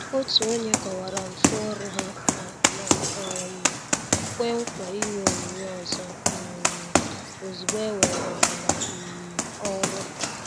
Òtù ònye kọ̀wara mfu ọrụ ha ma ma um kwè nkwa ịnye onyinye ọzọ um ozúgbo e were ha n' um ọrụ.